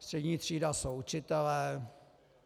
Střední třída jsou učitelé.